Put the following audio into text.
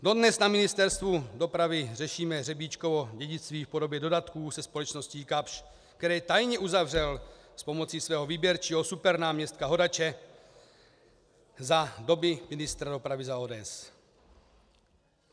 Dodnes na Ministerstvu dopravy řešíme Řebíčkovo dědictví v podobě dodatků se společností Kapsch, které tajně uzavřel s pomocí svého výběrčího supernáměstka Hodače za doby ministra dopravy za ODS.